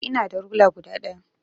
Eh ina da rula guda daya.